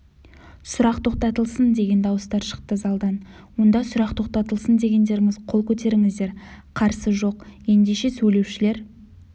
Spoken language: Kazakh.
сұрақ тоқтатылсын деген дауыстар шықты залдан онда сұрақ тоқтатылсын дегендеріңіз қол көтеріңіздер қарсы жоқ ендеше сөйлеушілер